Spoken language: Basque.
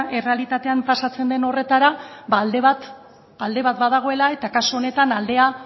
errealitatean pasatzen den horretara ba alde bat badagoela eta kasu honetan aldea